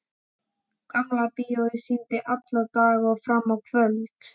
Gamla bíóið sýndi allan daginn og fram á kvöld.